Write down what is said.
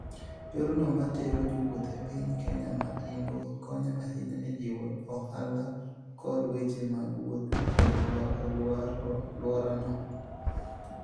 Yorno ma tero jowuoth e piny Kenya ma yimbo, konyo ahinya e jiwo ohala kod weche mag wuoth e alworano.